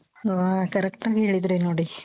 ಹ correct ಆಗಿ ಹೇಳಿದ್ರಿ ನೋಡಿ.